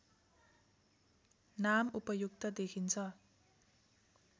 नाम उपयुक्त देखिन्छ